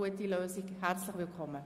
Herzlich willkommen.